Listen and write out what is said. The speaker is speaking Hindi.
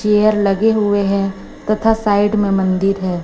चेयर लगे हुए हैं तथा साइड में मंदिर है।